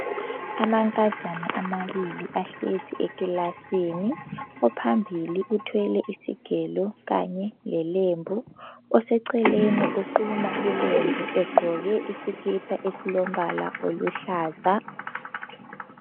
Amankazana amabili ahlezi ekilasini. Ophambili uthwele isigelo kanye lelembu. Oseceleni uquma ilembu egqoke isikipa esilombala oluhlaza.